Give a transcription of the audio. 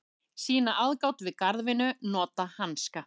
Sýna aðgát við garðvinnu, nota hanska.